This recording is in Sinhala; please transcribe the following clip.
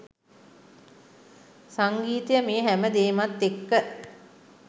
සංගීතය මේ හැම දේමත් එක්ක